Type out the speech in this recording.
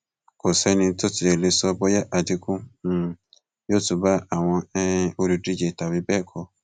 kò sẹni tó tí ì lè sọ bóyá àdínkù um yóò tún bá àwọn um olùdíje tàbí bẹẹ kọ